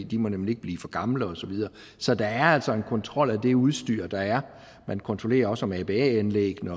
de må nemlig ikke blive for gamle og så videre så der er altså en kontrol af det udstyr der er man kontrollerer også om aba anlæggene